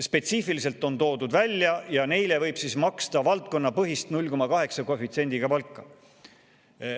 Spetsiifiliselt on toodud välja, et neile võib maksta valdkonnapõhist 0,8 koefitsiendiga palka.